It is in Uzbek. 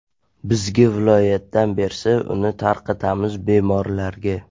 Bizga viloyatdan bersa, uni tarqatamiz bemorlarga.